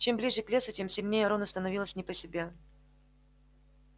чем ближе к лесу тем сильнее рону становилось не по себе